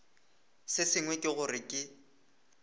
se sengwe ke gore ke